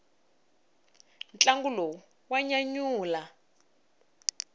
ntlangu lowu wa nyanyula